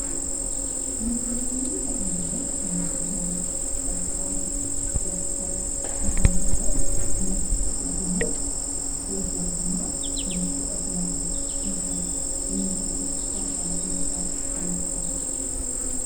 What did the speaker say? መሥርኂ ንኣብነት ከምቢሮ ዕርሳስ ደፍተር ነተምሃራይ መሥርሕኡ እዮም ብእኡ ገይሩ ድማ ትምህርቲ የቐስመሉ ስኹምከ ብምንታይ ታይ ዓይነት መሣሪሐ ኣለኩ